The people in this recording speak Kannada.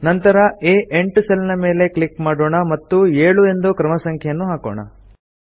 ನಂತರ ಆ8 ಸೆಲ್ ಮೇಲೆ ಕ್ಲಿಕ್ ಮಾಡೋಣ ಮತ್ತು 7 ಎಂದು ಕ್ರಮ ಸಂಖ್ಯೆಯನ್ನು ಹಾಕೋಣ